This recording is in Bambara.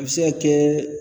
A bɛ se ka kɛ